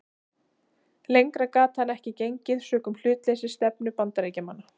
Lengra gat hann ekki gengið sökum hlutleysisstefnu Bandaríkjamanna.